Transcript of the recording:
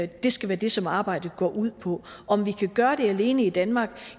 det skal være det som arbejdet går ud på om vi kan gøre det alene i danmark